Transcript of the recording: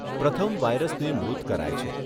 પ્રથમ વારયસને મૃત કરાય છે.